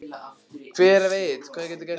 Hver veit hvað getur gerst núna?